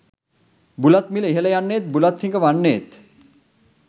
බුලත් මිල ඉහළ යන්නේත් බුලත් හිඟ වන්නේත්,